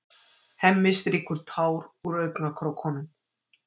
Hemmi strýkur tár úr augnakrókunum.